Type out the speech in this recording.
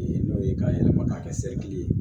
N'o ye k'a yɛlɛma k'a kɛ ye